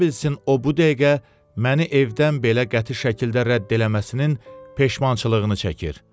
Ola bilsin o bu dəqiqə məni evdən belə qəti şəkildə rədd eləməsinin peşmançılığını çəkir.